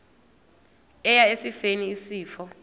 eya esifeni isifo